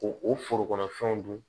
Ko o foro kɔnɔ fɛnw dun